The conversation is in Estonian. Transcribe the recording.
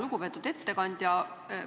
Lugupeetud ettekandja!